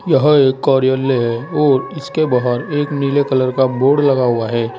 यह एक कार्यालय है और इसके बाहर एक नीले कलर का बोर्ड लगा हुआ है।